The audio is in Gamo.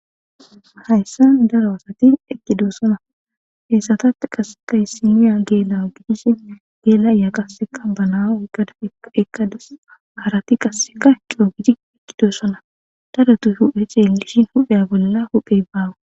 hayssa daro asati eqkidoossona heessatat qaseka hyssiniya geela gidishin geelaya qasseka banaa gada ekkades harati qasseka ekio gidi ekkidoossona tadatu huphe ceelishin hupheya bolla huphey baawa